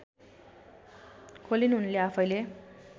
खोलिन् उनले आफैँले